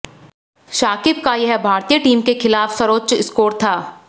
शाकिब का यह भारतीय टीम के खिलाफ सर्वोच्च स्कोर था